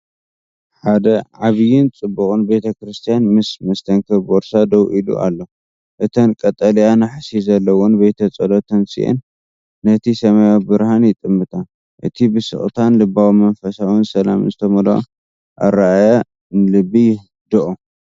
ሓደ ዓቢይን ጽቡቕን ቤተክርስትያን ምስ መስተንክር ቦርሳ ደው ኢሉ ኣሎ። እተን ቀጠልያ ናሕሲ ዘለወን ቤተ ጸሎት ተንሲአን ነቲ ሰማያዊ ብርሃን ይጥምታ። እቲ ብስቕታን ልባዊ መንፈሳዊ ሰላምን ዝተመልአ ኣረኣእያ ንልቢ የህድኦ።